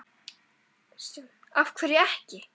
Kristján: Af hverju ekki?